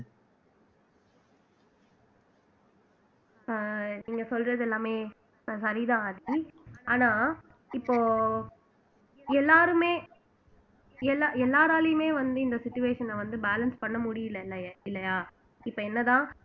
அஹ் நீங்க சொல்றது எல்லாமே சரிதான் ஆதி ஆனா இப்போ எல்லாருமே எல்லா எல்லாராலையுமே வந்து இந்த situation அ வந்து balance பண்ண முடியலை இல்லையா இப்ப என்னதான்